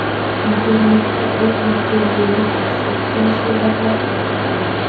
Internetda uy interyeri aks etgan suratlar tarqaldi.